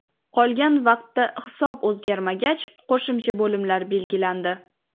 Qolgan vaqtda hisob o‘zgarmagach, qo‘shimcha bo‘limlar belgilandi.